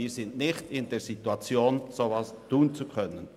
Wir sind nicht in der Situation, so etwas tun zu können.